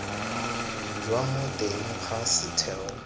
jwa mo teng ga setheo